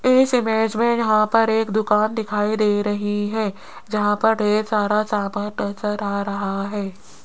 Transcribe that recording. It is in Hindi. इस इमेज में यहां पर एक दुकान दिखाई दे रही है जहां पर ढेर सारा सामान नजर आ रहा है।